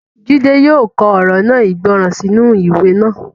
Jídé yóò kọ ọ̀rọ̀ náà ìgbọràn sínú ìwé náà